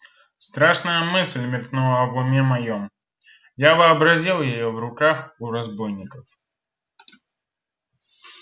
страшная мысль мелькнула в уме моём я вообразил её в руках у разбойников